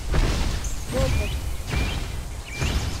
зотову